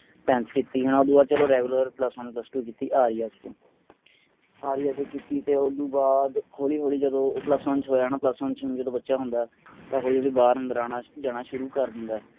tenth ਕੀਤੀ ਹੈ ਨਾ ਉਸਤੋਂ ਬਾਅਦ ਚਲੋ regular plus one plus two ਕੀਤੀ ਆਰੀਆਜ਼ ਤੋਂ ਆਰੀਯਾ ਚੋਂ ਕੀਤੀ ਤੇ ਉਸਤੋਂ ਬਾਅਦ ਹੋਲੀ ਹੋਲੀ ਜਦੋਂ ਓ plus one ਚ ਹੋਇਆ ਨਾ plus one ਚ ਵੀ ਜਦੋਂ ਬੱਚਾ ਹੁੰਦਾ ਤਾਂ ਹੋਲੀ ਹੋਲੀ ਬਾਹਰ ਅੰਦਰ ਆਉਣਾ ਜਾਣਾ ਸ਼ੁਰੂ ਕਰ ਦਿੰਦਾ ਹੈ